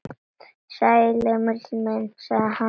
Sæll, Emil minn, sagði hann.